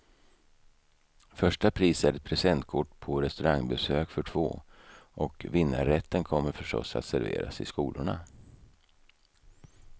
Första pris är ett presentkort på restaurangbesök för två, och vinnarrätten kommer förstås att serveras i skolorna.